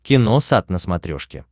киносат на смотрешке